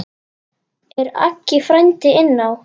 Er Aggi frændi inná?